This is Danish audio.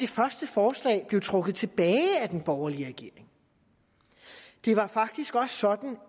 første forslag blev trukket tilbage af den borgerlige regering det var faktisk også sådan